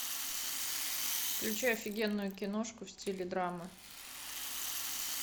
включай офигенную киношку в стиле драма